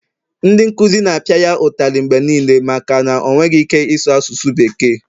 ndị nkuzi na-apịa ya ụtalị mgbe niile maka o enweghị ike ịsụ asụsụ bekee